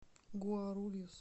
гуарульюс